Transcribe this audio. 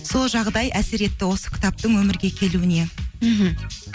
сол жағдай әсер етті осы кітаптың өмірге келуіне мхм